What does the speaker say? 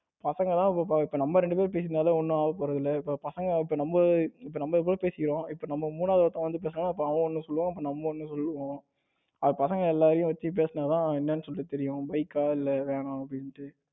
பசங்க தான் இப்ப நம்ம ரெண்டு பேரும் பேசினாலே ஒன்னும் ஆகப் போறது இல்ல இப்ப இப்ப நம்ம இப்ப நம்மளே பேசிகிறோம் இப்ப மூணாவது ஒருத்தன் வந்து பேசினானா இப்போ அவன் ஒன்னு சொல்லுவான் அப்புறம் நம்ம ஒன்னு சொல்லுவோம். அது பசங்க எல்லாரையும் வச்சு பேசினால் தான் என்னன்னு சொல்லிட்டு தெரியும். bike கா இல்ல van னா அப்படின்னுட்டு,